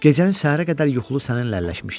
Gecəni səhərə qədər yuxulu səninlə əlləşmişdim.